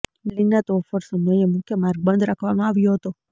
બિલ્ડીંગના તોડફોડ સમયે મુખ્ય માર્ગ બંધ રાખવામાં આવ્યો હતા